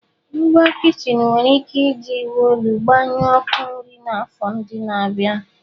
Ngwa kichin nwere ike iji iwu olu gbanyụọ ọkụ nri n'afọ ndị na-abịa.